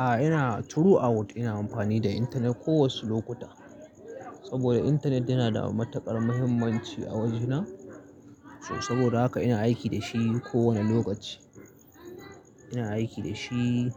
A'a ina true out ina amfani da intanet ko wace lokuta saboda intanet yana da matuƙar muhimmanci a wajena saboda haka ina aiki dashi ko wani lokaci. Ina aiki dashi